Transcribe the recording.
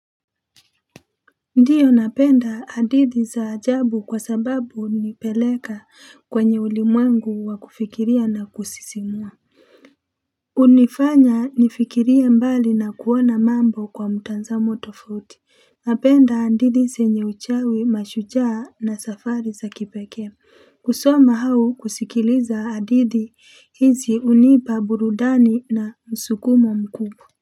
Ndiyo napenda hadithi za ajabu kwa sababu hunipeleka kwenye ulimwengu wa kufikiria na kusisimua hunifanya nifikirie mbali na kuona mambo kwa mtanzamo tofauti napenda hadithi zenye uchawi mashujaa na safari za kipekee kusoma au kusikiliza hadithi hizi hunipa burudani na msukumo mkubwa.